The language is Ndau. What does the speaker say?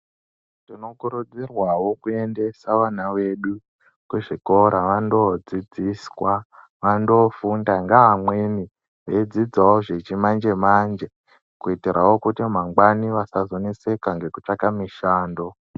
Muno kurudzirwawo kuendesa vana vedu kuchikora vanodzidziswa vanofunda neamweni vachidzidzawo zvechimanje manje kutirawo kuti mangwani asazonetseka nekutsvaga mishando.